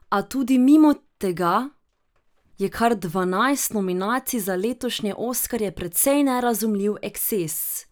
A tudi mimo tega je kar dvanajst nominacij za letošnje oskarje precej nerazumljiv eksces.